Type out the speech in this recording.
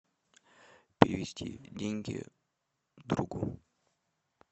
перевести деньги другу